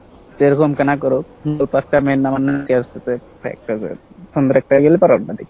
যেরকম কানাকরো দেখি।